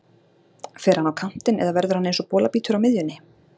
Fer hann á kantinn eða verður hann eins og bolabítur á miðjunni?